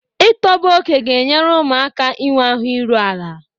Ịtọbe oke ga-enyere ụmụaka aka inwe ahụ iru ala.